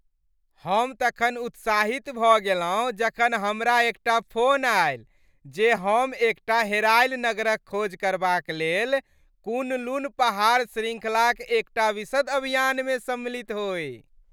हम तखन उत्साहित भऽ गेलहुँ जखन हमरा एकटा फोन आयल जे हम एकटा हेरायल नगरक खोज करबाक लेल कुन लुन पहाड़ शृंखलाक एकटा विशद अभियानमे सम्मिलित होइ।